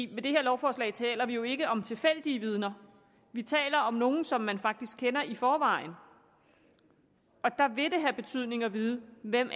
med det her lovforslag taler vi jo ikke om tilfældige vidner vi taler om nogle som man faktisk kender i forvejen og der vil det have betydning at vide hvem